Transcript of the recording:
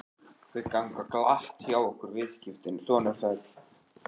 Þau ganga glatt hjá okkur viðskiptin, sonur sæll.